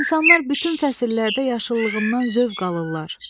İnsanlar bütün fəsillərdə yaşıllığımdan zövq alırlar.